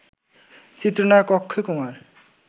চিত্রনায়ক অক্ষয় কুমার